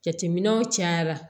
Jateminɛw cayara